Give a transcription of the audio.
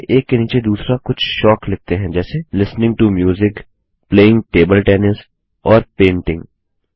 चलिए एक के नीचे दूसरा कुछ शौक लिखते हैं जैसे listening to music playing table tennis और पेंटिंग